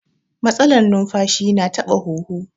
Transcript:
Matsalar numfashi na taɓa huhu